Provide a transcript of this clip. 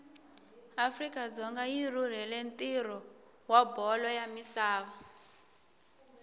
afrika dzonga yirhurhela ntiro wabholo yamisava